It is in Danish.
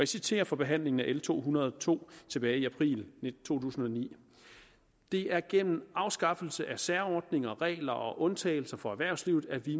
citerer fra behandlingen af l to hundrede og to tilbage i april 2009 det er gennem afskaffelse af særordninger regler og undtagelser for erhvervslivet at vi